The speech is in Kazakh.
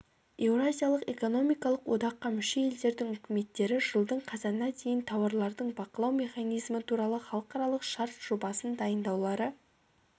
еуразиялық экономикалық одаққа мүше елдердің үкіметтері жылдың қазанына дейін тауарлардың бақылану механизмі туралы халықаралық шарт жобасындайындаулары